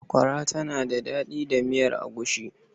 Sakwara tana da daɗi da miyar agushi.